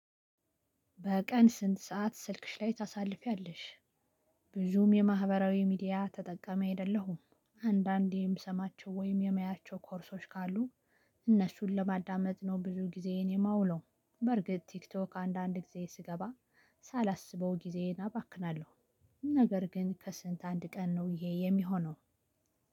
በቀን ስንት ሰዓት ስልክሽ ላይ ታሳልፊያለሽ? ብዙም የማህበራዊ ሚዲያ ተጠቃሚ አይደለሁም። አንዳንዴ የምሰማቸው ወይም የማያቸው 'ኮርሶች' ካሉ እነሱን ለማዳመጥ ነው ብዙ ጊዜዬን የማውለው። በርግጥ ቲክቶክ አንዳንድ ጊዜ ስገባ ሳላስበው ጊዜዬን አባክናለሁ። ነገር ግን ከስንት አንድ ቀን ነው ይሄ የሚሆነው።